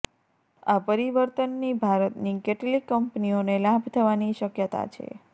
આ પરિવર્તનની ભારતની કેટલીક કંપનીઓને લાભ થવાની શક્યતા છે